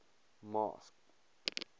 masked